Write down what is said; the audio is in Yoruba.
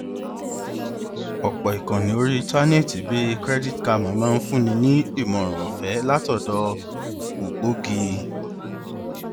ọpọ ìkànnì orí íńtánẹẹtì bíi credit karma máa ń fúnni ní ìmọràn ọfẹé látọdọ ògbógi